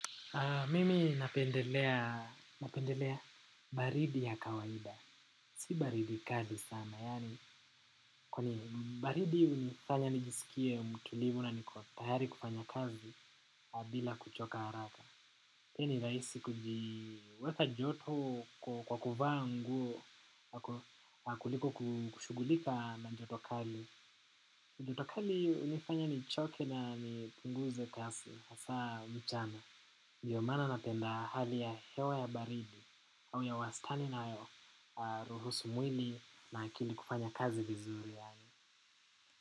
Mimi napendelea baridi ya kawaida. Si baridi kali sana. Yaani kwenye baridi hunifanya nijisikie mtulivu na niko tayari kufanya kazi bila kuchoka haraka. Pia ni rahisi kujiweka joto kwa kuvaa nguo na kuliko kushughulika na joto kali. Na joto kali hunifanya nichoke na nipunguze kazi hasa mchana. Ndiyo maana napenda hali ya hewa ya baridi au ya wastani inayoruhusu mwili na akili kufanya kazi vizuri yaani.